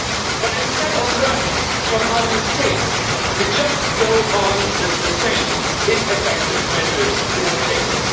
But instead of learning from our mistakes, we just go on with the same ineffective measures we have taken.